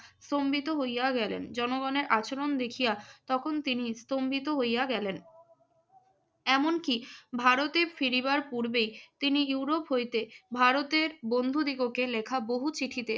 স্তম্ভিত হইয়া গেলেন। জনগণের আচরণ দেখিয়া তখন তিনি স্তম্ভিত হইয়া গেলেন। এমনকি ভারতে ফিরিবার পূর্বেই তিনি ইউরোপ হইতে ভারতের বন্ধু দীপকের লেখা বহু চিঠিতে ‍